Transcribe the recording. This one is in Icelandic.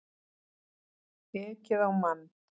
Ekið á mann